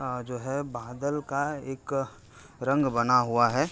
आ जो है बादल का एक रंग बना हुआ है।